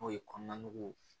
N'o ye kɔnɔna nugu